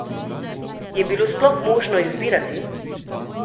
Je bilo sploh možno izbirati?